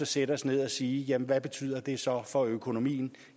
sætte os ned og sige hvad betyder det så for økonomien